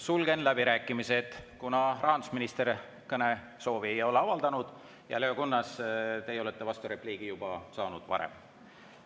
Sulgen läbirääkimised, kuna rahandusminister kõnesoovi ei ole avaldanud ja teie, Leo Kunnas, olete saanud vasturepliigi võimaluse juba varem.